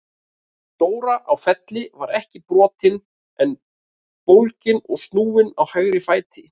Dóra á Felli var ekki brotin en bólgin og snúin á hægra fæti.